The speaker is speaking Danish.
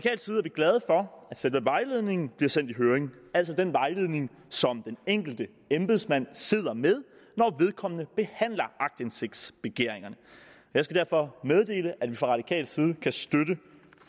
glade for at selve vejledningen bliver sendt i høring altså den vejledning som den enkelte embedsmand sidder med når vedkommende behandler aktindsigtsbegæringerne jeg skal derfor meddele at vi fra radikal side kan støtte